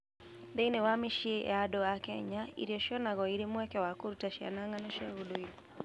Thĩinĩ wa mĩciĩ ya andũ a Kenya, irio cionagwo irĩ mweke wa kũruta ciana ng'ano cia ũndũire.